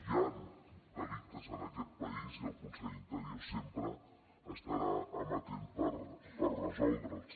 hi han delictes en aquest país i el conseller d’interior sempre estarà amatent per resoldre’ls